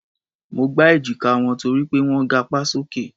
Mo gbá èjíká wọn torí pé wọ́n ń gapá sókè.